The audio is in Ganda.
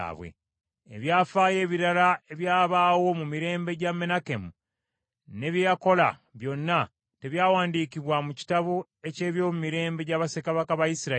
Ebyafaayo ebirala ebyabaawo mu mirembe gya Menakemu, ne bye yakola byonna, tebyawandiikibwa mu kitabo eky’ebyomumirembe gya bassekabaka ba Isirayiri?